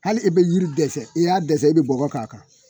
Hali i bɛ yiri dɛsɛ i y'a dɛsɛ i bɛ bɔɔgɔ k'a kan.